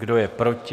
Kdo je proti?